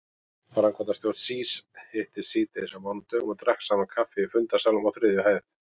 Framkvæmdastjórn SÍS hittist síðdegis á mánudögum og drakk saman kaffi í fundarsalnum á þriðju hæð.